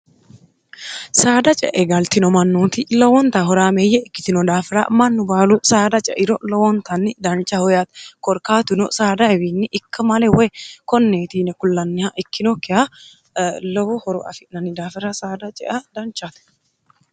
saada ceegaltino mannuoti lowonta horaameeyye ikkitino daafira mannu baalu saada ceiro lowoontanni dancha hoya korkaatuno saadaewiinni ikka male woy konneetiine kullanniha ikkinokkiha lowo horo afi'nanni daafira saada cea danchaate